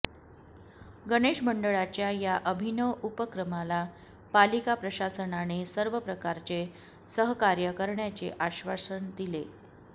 गणेशमंडळांच्या या अभिनव उपक्रमाला पालिका प्रशासनाने सर्व प्रकारचे सहकार्य करण्याचे आश्वासन दिले